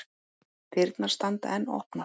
Dyrnar standa enn opnar.